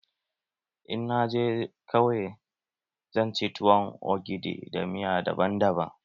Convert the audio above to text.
In na je kauye, zan ci tuwon ogidi da miya daban daban.